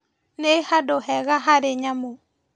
Nĩ handu hega harĩ nyamũ